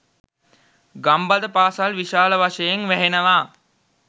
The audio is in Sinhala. ගම්බද පාසල් විශාල වශයෙන් වැහෙනවා.